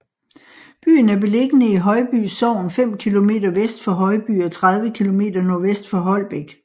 Byen er beliggende i Højby Sogn fem kilometer vest for Højby og 30 kilometer nordvest for Holbæk